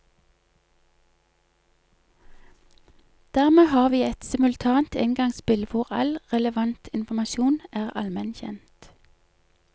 Dermed har vi et simultant engangsspill hvor all relevant informasjon er allmen kjent.